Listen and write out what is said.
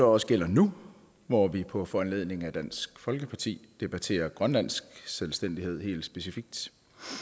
også gælder nu hvor vi på foranledning af dansk folkeparti debatterer grønlandsk selvstændighed helt specifikt